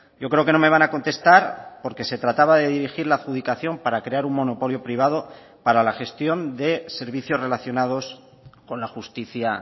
yo creo que no me van a contestar porque se trataba de dirigir la adjudicación para crear un monopolio privado para la gestión de servicios relacionados con la justicia